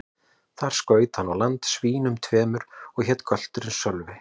Þar skaut hann á land svínum tveimur, og hét gölturinn Sölvi.